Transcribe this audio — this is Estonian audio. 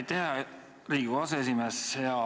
Aitäh, hea Riigikogu aseesimees!